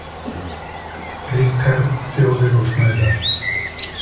Ríkar þjóðir og snauðar.